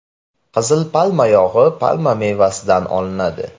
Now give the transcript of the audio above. Qizil palma yog‘i palma mevasidan olinadi.